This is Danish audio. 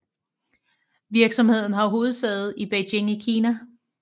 Virksomheden har hovedsæde i Beijing i Kina